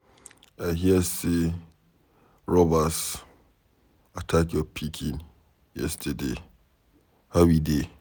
I hear say robbers attack your pikin yesterday. How he dey?